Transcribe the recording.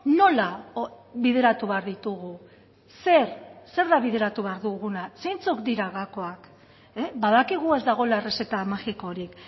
nola bideratu behar ditugu zer zer da bideratu behar duguna zeintzuk dira gakoak badakigu ez dagoela errezeta magikorik